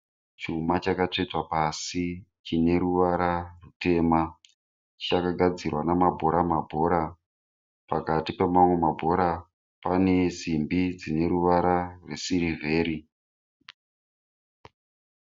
Chuma chakatsvetwa pasi chine ruvara rutema. Chakagadzirwa namabhora mabhora. Pakati pemamwe mabhora, pane simbi dzine ruvara rwesirivheri.